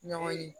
Ɲɔgɔnye